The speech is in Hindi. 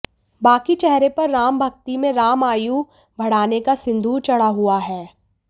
बाकी चेहरे पर राम भक्ति में राम आयु बढ़ानेका सिंदूर चढ़ा हुआ है